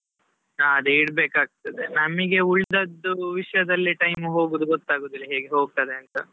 ಹಾ ಅದೇ ಇಡ್ಬೇಕಾಗ್ತದೆ, ನಮಿಗೆ ಉಳ್ದದ್ದು ವಿಷಯದಲ್ಲೇ time ಹೋಗುದು ಗೊತ್ತಾಗುದಿಲ್ಲಾ, ಹೇಗೆ ಹೋಗ್ತದೆ ಅಂತಾ.